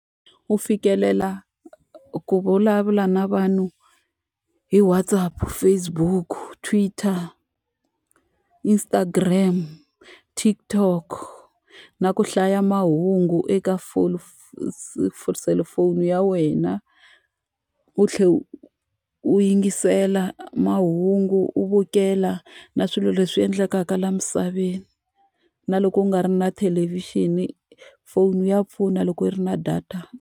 U fikelela ku vulavula na vanhu hi WhatsApp, Facebook, Twitter, Instagram, TikTok, na ku hlaya mahungu eka selufoni ya wena. U tlhela u u yingisela mahungu u vukela na swilo leswi endlekaka laha misaveni. Na loko u nga ri na thelevixini, phone ya pfuna loko yi ri na data.